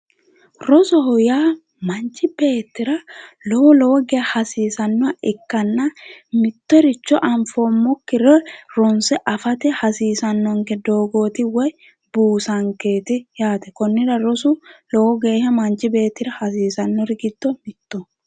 rosoho yaa manchi beettira lowo lowo geeshsha hasiisannoha ikkanna mittoricho anfoommokkire ronse afate hasiisannonke doogooti woy buusankeeti yaate konnira rosu msnchi beettira hasiisannori giddo mittoho.